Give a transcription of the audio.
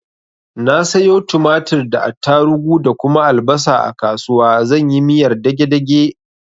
Na sayo tumatir da attarugu da kuma albasa a kasuwa zan yi miyar dage dage.